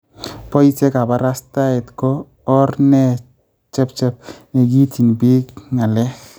Boisye kabarastaet ko or ne chebchep ne kiityin biik ng�alek